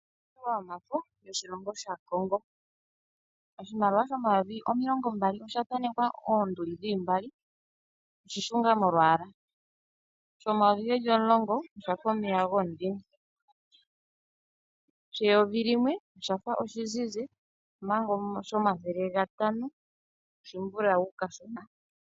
Iimaliwa yomafo yoshilongo shaCongo oshimaliwa shomayovi omilongo mbali osha thanekwa oonduli dhili mbali oshi shunga molwaala, shomayovi geli omulongo oshafa omeya gomudhime, sheyovi limwe oshafa oshizizi manga shomathele gatano oshimbulawu kashona.